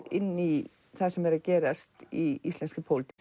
inn í það sem er að gerast í íslenskri pólitík